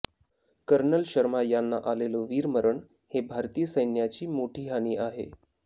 colonel Sharma यांना आलेलं वीरमरण हे भारतीय सैन्याची मोठी हानी आहे